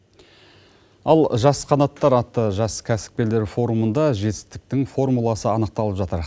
ал жас қанаттар атты жас кәсіпкерлер форумында жетістіктің формуласы анықталып жатыр